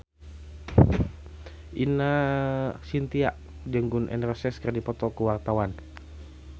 Ine Shintya jeung Gun N Roses keur dipoto ku wartawan